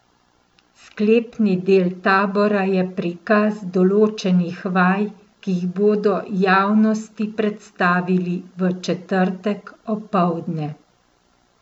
Sklepni del tabora je prikaz določenih vaj, ki jih bodo javnosti predstavili v četrtek opoldne.